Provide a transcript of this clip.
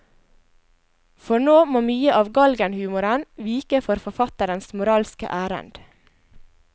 For nå må mye av galgenhumoren vike for forfatterens moralske ærend.